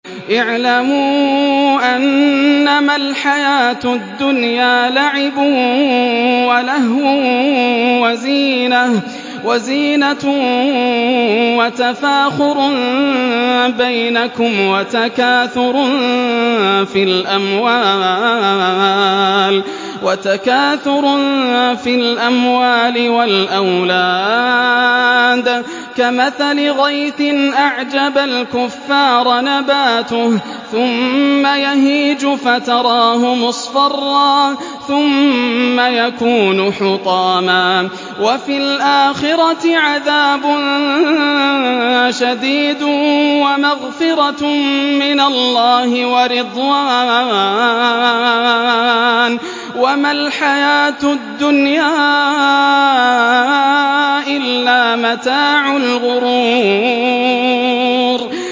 اعْلَمُوا أَنَّمَا الْحَيَاةُ الدُّنْيَا لَعِبٌ وَلَهْوٌ وَزِينَةٌ وَتَفَاخُرٌ بَيْنَكُمْ وَتَكَاثُرٌ فِي الْأَمْوَالِ وَالْأَوْلَادِ ۖ كَمَثَلِ غَيْثٍ أَعْجَبَ الْكُفَّارَ نَبَاتُهُ ثُمَّ يَهِيجُ فَتَرَاهُ مُصْفَرًّا ثُمَّ يَكُونُ حُطَامًا ۖ وَفِي الْآخِرَةِ عَذَابٌ شَدِيدٌ وَمَغْفِرَةٌ مِّنَ اللَّهِ وَرِضْوَانٌ ۚ وَمَا الْحَيَاةُ الدُّنْيَا إِلَّا مَتَاعُ الْغُرُورِ